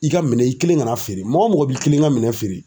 I ka minɛ i kelen kana feere mɔgɔ o mɔgɔ b'i kelen ka minɛ feere.